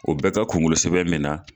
O bɛ ka kunkolo sɛbɛn bɛna.